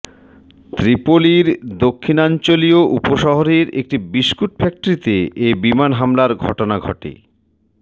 ত্রিপোলির দক্ষিণাঞ্চলীয় উপশহরের একটি বিস্কুট ফ্যাক্টরিতে এ বিমান হামলার ঘটনা ঘটে